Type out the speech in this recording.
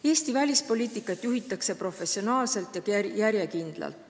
Eesti välispoliitikat juhitakse professionaalselt ja järjekindlalt.